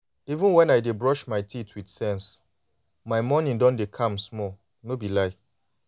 even when i dey brush my teeth with sense my morning don dey calm small. no be lie